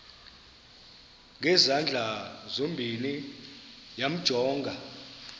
ngezandla zozibini yamjonga